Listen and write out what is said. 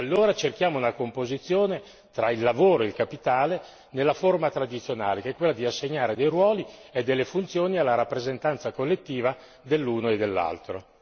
Allora cerchiamo una composizione tra il lavoro in capitale nella forma tradizionale, che è quella di assegnare dei ruoli e delle funzioni alla rappresentanza collettiva dell'uno e dell'altro.